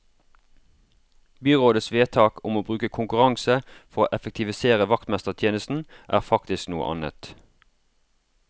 Byrådets vedtak om å bruke konkurranse for å effektivisere vaktmestertjenesten er faktisk noe annet.